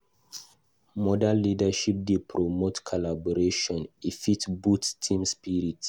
Modern leadership dey promote collaboration; e fit boost team spirit.